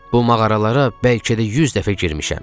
Bu mağaralara bəlkə də 100 dəfə girmişəm.